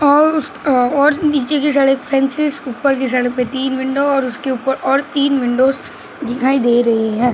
तीन विंडो और उसके ऊपर और तीन विंडो दिखाई दे रहे हैं।